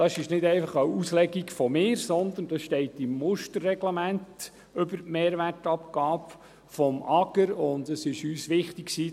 Dies ist nicht einfach eine Auslegung von mir, sondern dies steht im Musterreglement über die Mehrwertabgabe des Amts für Gemeinden und Raumordnung (AGR).